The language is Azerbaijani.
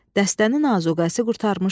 Dəstənin azuqəsi qurtarmışdı.